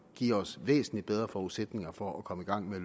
give os væsentlig bedre forudsætninger for at komme i gang med at